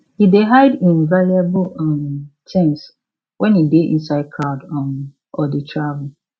e dey hide im valuable um things when e dey inside crowd um or dey travel